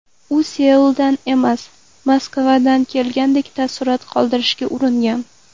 U Seuldan emas, Moskvadan kelgandek taassurot qoldirishga uringan.